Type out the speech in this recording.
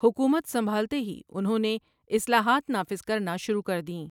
حکومت سنبھالتے ہی انہوں نے اصلاحات نافذ کرنا شروع کر دیں ۔